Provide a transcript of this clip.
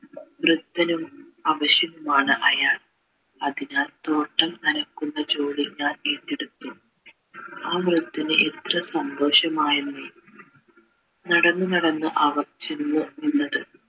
വൃദ്ധനും അവശനുമാണ് അയാൾ അതിനാൽ തോട്ടം നനയ്ക്കുന്ന ജോലിക്കാർ ഏറ്റെടുത്തു ആ വൃദ്ധന് എത്ര സന്തോഷമയന്നെ ഏർ നടന്ന് നടന്ന് അവർ ചെന്ന് നിന്നത്